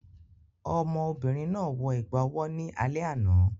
Ọmọ obìnrin náà wọ ẹ̀gbà owó ní alẹ́ àná